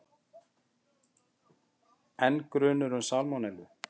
Enn grunur um salmonellu